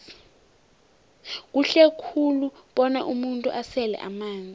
kuhle khulu bona umuntu asele amanzi